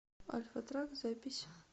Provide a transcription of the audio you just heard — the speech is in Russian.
альфатрак запись